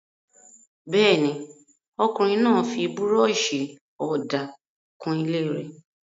Bẹ́ẹ̀ ni, ọkùnrin náà fi búrọ́ṣì-ọ̀dà kun ilé.